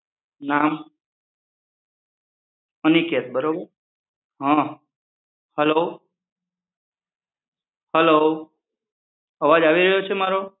નામ અનિકેત બરોબર હં hello hello અવાજ આવી રહ્યો છે મારો?